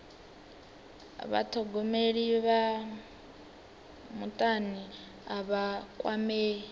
vhathogomeli vha mutani a vha kwamei